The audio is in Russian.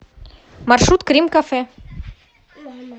маршрут крим кафе